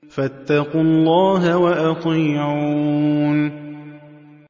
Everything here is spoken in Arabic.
فَاتَّقُوا اللَّهَ وَأَطِيعُونِ